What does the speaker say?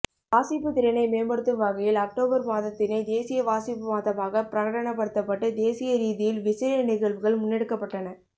வாசிப்பு திறனை மேம்படுத்தும் வகையில் ஒக்டோபர் மாதத்தினை தேசிய வாசிப்பு மாதமாக பிரகடனப்படுத்தப்பட்டு தேசிய ரீதியில் விசேட நிகழ்வுகள் முன்னெடுக்கப்பட்டன